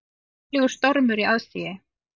Kynlegur stormur í aðsigi